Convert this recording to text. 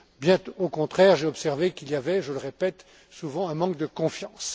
Bien au contraire, j'ai observé qu'il y avait je le répète souvent un manque de confiance.